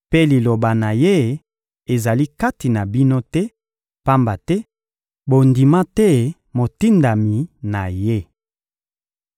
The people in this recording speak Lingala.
mpe liloba na Ye ezali kati na bino te, pamba te bondima te Motindami na Ye.